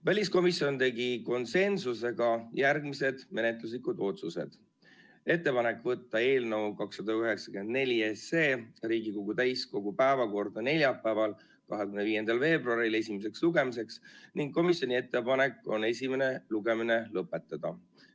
Väliskomisjon tegi konsensusega järgmised menetluslikud otsused: ettepanek võtta eelnõu 294 Riigikogu täiskogu päevakorda neljapäevaks, 25. veebruariks esimeseks lugemiseks ning komisjoni ettepanek on esimene lugemine lõpetada.